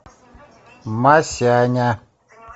масяня